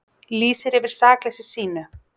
Lýsir yfir sakleysi sínu